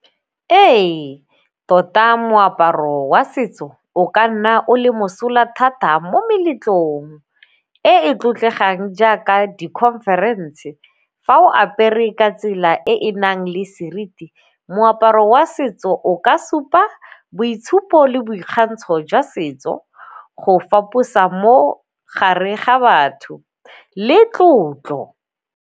Ee, tota moaparo wa setso o ka nna o le mosola thata mo meletlong e e tlotlegang jaaka di-conference. Fa o apere ka tsela e e nang le seriti, moaparo wa setso o ka supa boitshupo le boikgantsho jwa setso go faposa mo gare ga batho le tlotlo.